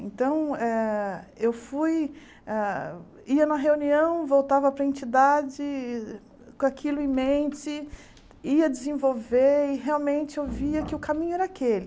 Então, ah eu fui, ah ia na reunião, voltava para a entidade e com aquilo em mente, ia desenvolver e realmente eu via que o caminho era aquele.